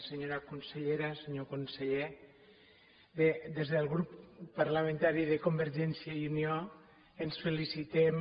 senyora consellera senyor conseller bé des del grup parlamentari de convergència i unió ens felicitem